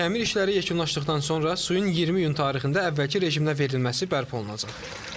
Təmir işləri yekunlaşdıqdan sonra suyun 20 iyun tarixində əvvəlki rejimə verilməsi bərpa olunacaq.